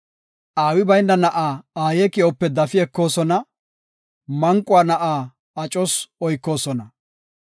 Aawi bayna na7a aaye ki7ope dafi ekoosona; manquwa na7a acos oykoosona.